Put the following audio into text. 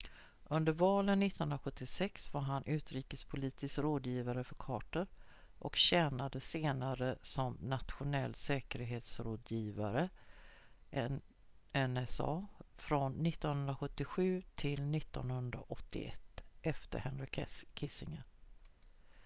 under valen 1976 var han utrikespolitisk rådgivare för carter och tjänade senare som nationell säkerhetsrådgivare nsa från 1977 till 1981 efter henry kissinger